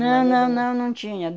Não, não, não, não tinha.